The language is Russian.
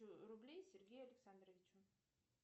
рублей сергею александровичу